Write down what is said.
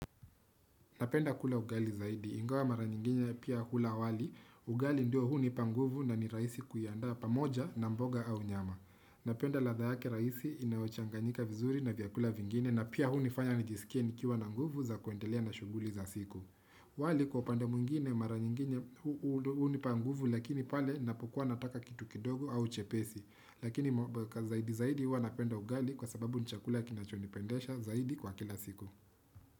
Napenda kula ugali zaidi. Ingawa mara nyingine pia hula wali. Ugali ndio hunipa nguvu na ni rahisi kuianda pamoja na mboga au nyama. Napenda ladha yake rahisi inayochanganyika vizuri na vyakula vingine na pia hunifanya nijisikie nikiwa na nguvu za kuendelea na shughuli za siku. Wali kwa upande mwingine mara nyingine hunipa nguvu lakini pale ninapokua nataka kitu kidogo au chepesi. Lakini zaidi zaidi huwa napenda ugali kwa sababu ni chakula kinachonipendesha zaidi kwa kila siku.